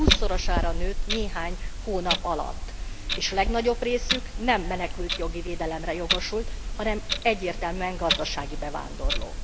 Hússzorosára nőtt néhány hónap alatt, és legnagyobb részük nem menekültjogi védelemre jogosult, hanem egyértelműen gazdasági bevándorló.